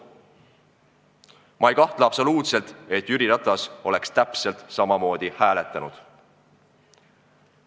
Ma ei kahtle absoluutselt, et Jüri Ratas oleks täpselt samamoodi hääletanud.